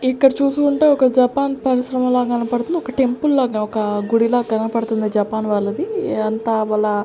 ఇక్కడ చూసుకుంటే ఒక జపాన్ పరిశ్రమలా కనపడుతుంది. ఒక టెంపుల్ లాగా ఒక గుడి లాగా కనపడుతుంది జపాన్ వాళ్ళది అంతా వళ్ళ --